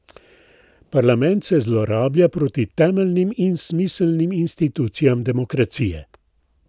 Parlament se zlorablja proti temeljnim in smiselnim institucijam demokracije.